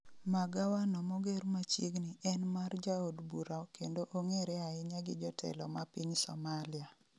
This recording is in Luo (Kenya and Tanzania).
magawa no moger machiegni en mar jaod bura kendo ong'ere ahinya gi jotelo ma piny Somalia